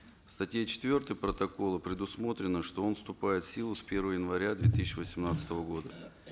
в статье четвертой протокола предусмотрено что он вступает в силу с первого января две тысячи восемнадцатого года